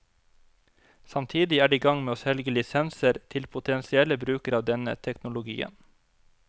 Samtidig er de i gang med å selge lisenser til potensielle brukere av denne teknologien.